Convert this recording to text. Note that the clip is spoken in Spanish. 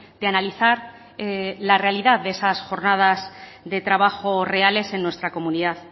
de analizar la realidad de esas jornadas de trabajo reales en nuestra comunidad